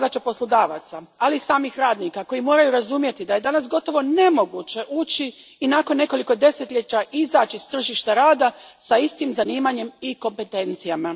To je zadaća poslodavaca, ali i samih radnika koji moraju razumjeti da je danas gotovo nemoguće ući i nakon nekoliko desetljeća izaći s tržišta rada s istim zanimanjem i kompetencijama.